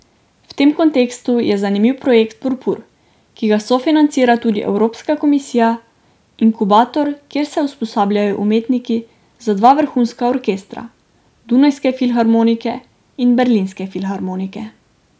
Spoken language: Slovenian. V tem kontekstu je zanimiv projekt Purpur, ki ga sofinancira tudi evropska komisija, inkubator, kjer se usposabljajo umetniki za dva vrhunska orkestra, Dunajske filharmonike in Berlinske filharmonike.